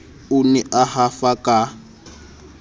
o ne a hafa ka